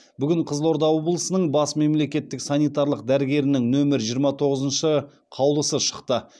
бүгін қызылорда облысының бас мемлекеттік санитарлық дәрігерінің нөмірі жиырма тоғызыншы қаулысы шықты